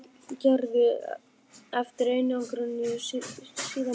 Hafði hún mörg orð um hve miklu persónulegri íslensku sjúkrahúsin væru en þau þýsku.